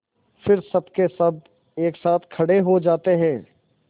फिर सबकेसब एक साथ खड़े हो जाते हैं